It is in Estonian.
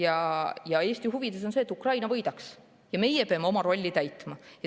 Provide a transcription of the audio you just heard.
Aga Eesti huvides on see, et Ukraina võidaks, ja meie peame oma rolli täitma.